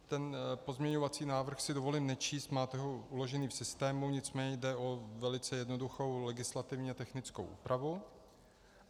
Ten pozměňovací návrh si dovolím nečíst, máte ho uložený v systému, nicméně jde o velice jednoduchou legislativně technickou úpravu.